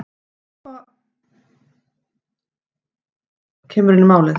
það er þá sem kúba kemur inn í málið